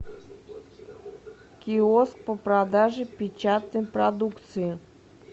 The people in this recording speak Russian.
киоск по продаже печатной продукции